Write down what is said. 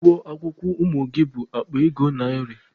Ụgwọ akwụkwọ ụmụ gị bụ akpa ego narị.